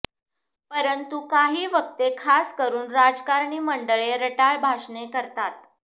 परंतु काही वक्ते खासकरून राजकारणी मंडळी रटाळ भाषणे करतात